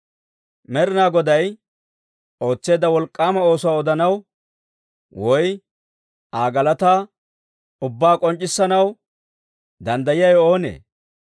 Med'inaa Goday ootseedda wolk'k'aama oosuwaa odanaw, woy Aa galataa ubbaa k'onc'c'issanaw, danddayiyaawe oonee?